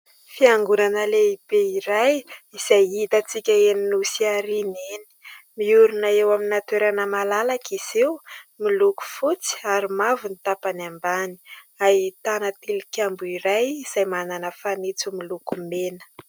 Fiangonana lehibe iray izay hitantsika eny Nosiariana eny. Miorina eo amin'ny toerana malalaka izy io, miloko fotsy ary mavo ny tapany ambany. ahitana tilikambo iray izay manana fanitso miloko mena.